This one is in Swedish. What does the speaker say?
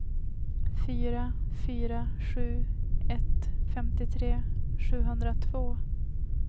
fyra fyra sju ett femtiotre sjuhundratvå